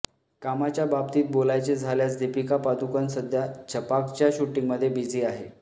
कामाच्या बाबतीत बोलायचे झाल्यास दीपिका पदुकोण सध्या छपाकच्या शूटिंगमध्ये बिझी आहे